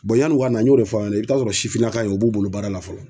yanni u ka na n y'o de fɔ ɲɛna i b'a sɔrɔ sifinnaka in o b'u bolo baara la fɔlɔ.